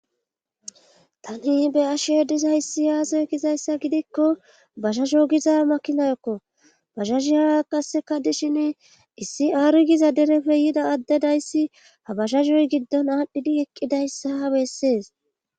Tani be ashe dizayssi yaazoy gizayssa gidikko bashaso giza makinayokko bashashi hara qasseka dishin issi aari giza derefe yida addedayssi ha bashasoy giddon aadhdhidi eqqidayssa ha bessees.